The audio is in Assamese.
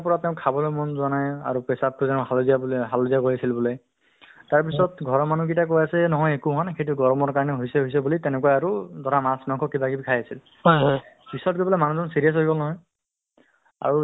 উম আহ্ মন এই কি চৰকাৰৰ ফালৰ পৰাও পইচাও এটা দিয়ে যে pregnant woman ৰ কাৰণে আৰ্ যে হাজাৰ টকাকে দিব fruits কিনি খাব বা horlicks কিনি খাব food actually মানে স্বাস্থ্য প স্বাস্থ্যৰ ক্ষেত্ৰত হ'লে